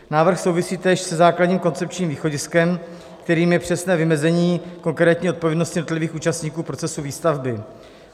Návrh souvisí též se základním koncepčním východiskem, kterým je přesné vymezení konkrétní odpovědnosti jednotlivých účastníků procesu výstavby.